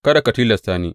Kada ka tilasta ni.